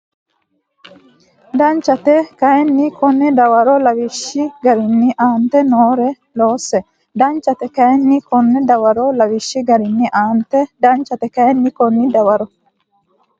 Danchate kayinni konni Dawaro lawishshi garinni aante noore loosse Danchate kayinni konni Dawaro lawishshi garinni aante Danchate kayinni konni Dawaro.